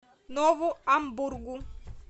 нову амбургу